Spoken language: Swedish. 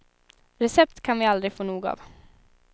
Recept kan vi aldrig få nog av.